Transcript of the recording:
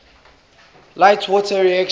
light water reactors